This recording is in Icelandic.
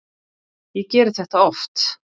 Ég geri þetta oft.